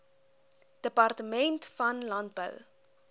departement van landbou